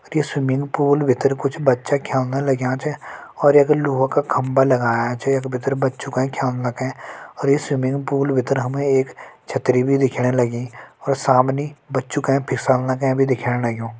अर ये swimming pool भितर कुछ बच्चा ख्यल लग्यां च और लोह का खम्बा लग्यां च यख भितर बच्चो ते ख्यल तें अर ये स्विंग पूल भितर हमे एक छतरी भी दिखण लगी और समणी बच्चो तें पिसल तें भी दिखण लग्युं।